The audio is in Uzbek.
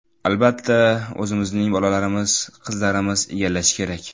Albatta, o‘zimizning bolalarimiz, qizlarimiz egallashi kerak.